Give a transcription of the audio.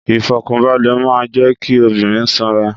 Ìfọ̀kànbalẹ̀ máa ń jẹ kí obìnrin ṣanra